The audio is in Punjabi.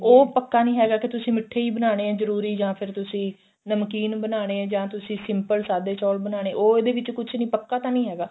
ਉਹ ਪੱਕਾ ਨਹੀਂ ਹੈਗਾ ਕਿ ਤੁਸੀਂ ਮਿੱਠੇ ਹੀ ਬਣਾਨੇ ਏ ਜਰੂਰੀ ਜਾਂ ਫਿਰ ਤੁਸੀਂ ਨਮਕੀਨ ਬਣਾਨੇ ਏ ਜਾਂ ਤੁਸੀਂ simple ਸਾਦੇ ਚੋਲ ਬਣਾਨੇ ਏ ਉਹ ਇਹਦੇ ਵਿੱਚ ਕੁੱਝ ਵੀ ਪੱਕਾ ਤਾਂ ਨਹੀਂ ਹੈਗਾ